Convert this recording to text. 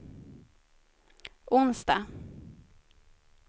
onsdag